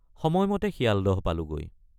সময়মতে শিয়ালদহ পালোগৈ।